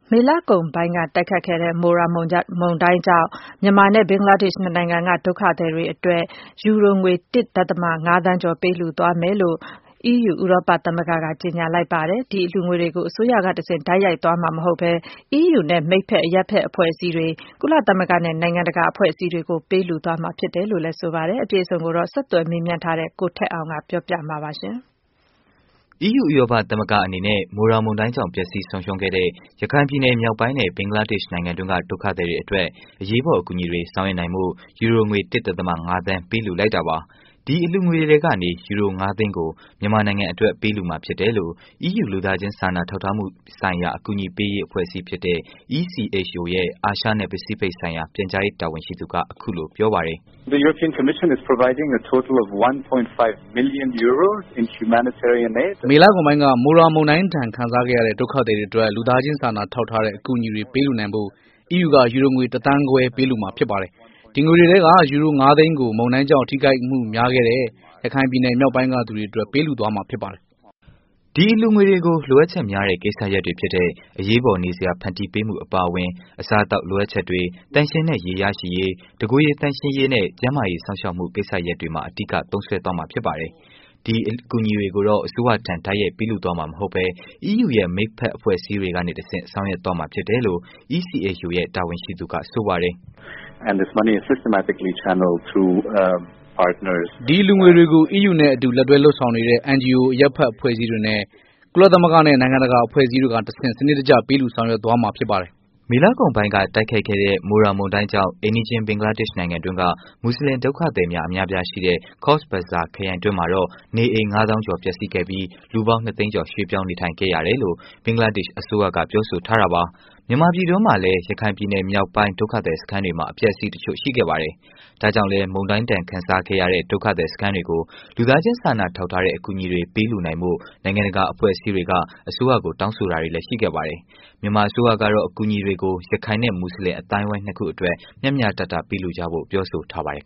မေလကုန်ပိုင်းက တိုက်ခိုက်ခဲ့တဲ့ မိုရာမုန်တိုင်းကြောင့် မြန်မာနဲ့ ဘင်္ဂလားဒေ့ရှ်နှစ်နိုင်ငံက ဒုက္ခသည်တွေအတွက် ယူရိုငွေ ၁.၅ သန်းကျော် ပေးလှူသွားမယ်လို့ အီးယူဥရောပသမဂ္ဂက ကြေညာလိုက်ပါတယ်။ ဒီအလှုငွေတွေကို အစိုးရကနေတစ်ဆင့် တိုက်ရိုက်သွားမှာ မဟုတ်ဘဲ အီးယူနဲ့ မိတ်ဖက် အရပ်ဖက်အဖွဲ့အစည်းတွေ၊ ကုလမသဂ္ဂနဲ့ နိုင်ငံတကာအဖွဲ့အစည်းတွေကို ပေးလှုသွားမယ်လို့လည်း ဆိုပါတယ်။ အပြည့်အစုံကိုတော့ ဆက်သွယ်မေးမြန်းထားတဲ့ ဗွီအိုအေမြန်မာပိုင်း သတင်းထောက် ကိုထက်အောင်က တင်ပြပေးမှာပါ။ အီးယူဥရောပသမဂ္ဂအနေနဲ့ မိုရာမုန်းတိုင်းကြောင့် ပျက်စီးဆုံးရှုံးခဲ့တဲ့ ရခိုင်ပြည်နယ်မြောက်ပိုင်းနဲ့ ဘင်္ဂလားဒေ့ရှ်နိုင်ငံတွင်းက ဒုက္ခသည်တွေအတွက် အရေးပေါ် အကူအညီတွေ ဆောင်ရွက်နိုင်ဖို့ ယူရိုငွေ ၁.၅ သန်း ပေးလှုလိုက်တာပါ။ ဒီအလှုငွေထဲကနေ ယူရိူု၅ သိန်းကို မြန်မာနိုင်ငံအတွက် ပေးလှူမှာ ဖြစ်တယ်လို့ အီးယူ လူသားချင်းစာနာထောက်ထားမှုများဆိုင်ရာ အကူအညီပေးရေး အဖွဲ့အစည်းဖြစ်တဲ့ (ECHO) ရဲ့ အာရှနဲ့ ပစိဖိတ်ဆိုင်ရာ ပြန်ကြားရေး တာဝန်ရှိသူက အခုလို ပြောပါတယ်။ “မေလကုန်ပိုင်းက မုန်ရာမုန်တိုင်းဒဏ်ခံစားခဲ့ကြရတဲ့ ဒုက္ခသည်တွေအတွက် လူသားချင်းစာနာထောက်ထားတဲ့ အကူအညီတွေ ပေးလှူနိုင်ဖို့ အီးယူက ယူရိုငွေ ၁.၅ သန်း ပေးလှူမှာ ဖြစ်ပါတယ်။ ဒီငွေထဲက ယူရို ၅ သိန်းကိုတော့ မုန်တိုင်းကြောင့် ထိခိုက်မှုများခဲ့တဲ့ ရခိုင်ပြည်နယ်မြောက်ပိုင်းက သူတွေအတွက် ပေးလှူမှာ ဖြစ်ပါတယ်။” ဒီအလှူငွေတွေကို လိုအပ်ချက်များတဲ့ ကိစ္စရပ်တွေဖြစ်တဲ့ အရေးပေါ် နေစရာ ဖန်တီးပေးမှုအပါအဝင် အစားအသောက်လိုအပ်ချက်တွေ၊ သန့်ရှင်းတဲ့ ရေရရှိရေး ၊ တစ်ကိုယ်ရည် သန့်ရှင်းရေးနဲ့ ကျန်းမာရေး စောင့်ရှာက်မှု ကိစ္စရပ်တွေမှာ အဓိက သုံးစွဲသွားမှာ ဖြစ်ပါတယ်။ အကူအညီတွေကို အစိုးရထံ တိုက်ရိုက် ပေးလှူသွားမှာမဟုတ်ပဲ အီးယူရဲ့ မိတ်ဖက်အဖွဲ့အစည်းတွေကနေတစ်ဆင့် ဆောင်ရွက်သွားမှာဖြစ်တယ်လို့ ECHO ရဲ့ တာဝန်ရှိသူက ဆိုပါတယ်။ “ဒီအလူငွေတွေကို အီးယူနဲ့ အတူလက်တွဲ လုပ်ဆောင်နေတဲ့ NGO အရပ်ဖက်အဖွဲ့အစည်းတွေနဲ့ ကုလသမဂ္ဂနဲ့ နိုင်ငံတကာအဖွဲ့အစည်းတွေကိုတစ်ဆင့် စနစ်တကျ ပေးလှူဆောင်ရွက်သွားမှာ ဖြစ်ပါတယ်။” မေလကုန်ပိုင်းက တိုက်ခိုက်ခဲ့တဲ့ မိုရာ မုန်တိုင်းကြောင့် အိမ်နီးချင်း ဘင်္ဂလားဒေ့ရှ်နိုင်ငံတွင်းက မွတ်ဆလင် ဒုက္ခသည်များ အများအပြားရှိတဲ့ Cox's Bazar ခရိုင်တွင်းမှာတော့ နေအိမ် ၅ သောင်းကျော် ပျက်စီးခဲ့ပြီး လူပေါင်း ၂ သိန်းကျော် ရွေးပြောင်း နေထိုင်ခဲ့ရတယ်လို့ ဘင်္ဂလားဒေ့ရှ်အစိုးရက ပြောဆိုထားပါတယ်။ မြန်မာပြည်တွင်းမှာလည်း ရခိုင်ပြည်နယ် မြောက်ပိုင်း ဒုက္ခသည်စခန်းတွေမှာ အပျက်အဆီး တစ်ချို့ ရှိခဲ့တာပါ။ ဒါကြောင့်လည်း မုန်တိုင်းဒဏ်ခံစားခဲ့ရတဲ့ ဒုက္ခသည်စခန်းတွေကို လူသားချင်းစာနာထောက်ထားတဲ့ အကူအညီတွေ ပေးလှူနိုင်ဖို့ နိုင်ငံတကာ အဖွဲ့အစည်းတွေက အစိုးရကို တောင်းဆိုတာတွေလည်း ရှိခဲ့ပါတယ်။ မြန်မာအစိုးရကတော့ အကူအညီတွေကို ရခိုင်နဲ့ မွတ်ဆလင် အသိုင်းအဝိုင်း ၂ ခုအတွက် မျှမျှတတပေးလှူကြဖို့ ပြောဆိုထားပါတယ်